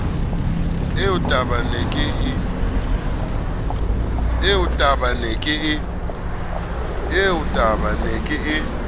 eo tabake ne ke e